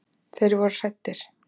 Þeir voru hræddir.